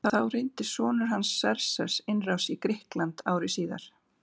Þá reyndi sonur hans Xerxes innrás í Grikkland ári síðar.